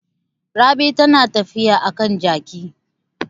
Rabi tana tafiya a kan jaki.